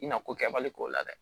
I na ko kɛbali k'o la dɛ